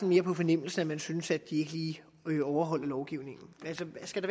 mere på fornemmelsen man synes at de ikke lige overholder lovgivningen altså skal